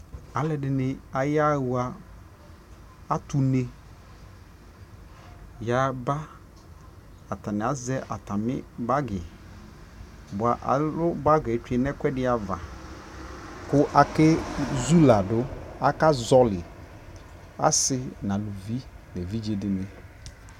alʋɛdini ayaha, atʋ ʋnɛ yaba, atani azɛ atami bagi, alʋ bagiɛ twɛnʋ ɛkʋɛdi aɣa kʋ akɛ zʋ ladʋ, aka zɔli, asii nʋ alʋvi nʋ ɛvidzɛ dini